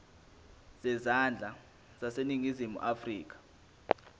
zezandla zaseningizimu afrika